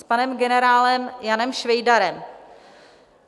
S panem generálem Janem Švejdarem.